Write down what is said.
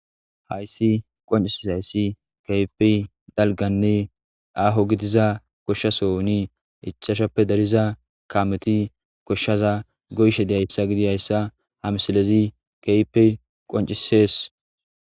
Haysi qoncisizaysi kehi dalgane aho gidiza gidida gosha sohon ichachchappe dariza kameti goshaza goyishe dizaysa gidishin ha misiles kehippe qoncises